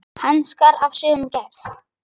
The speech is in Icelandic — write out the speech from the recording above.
Hanskar af sömu gerð.